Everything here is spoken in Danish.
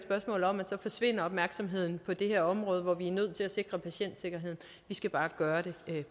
spørgsmål om at så forsvinder opmærksomheden fra det her område hvor vi er nødt til at sikre patientsikkerheden vi skal bare gøre det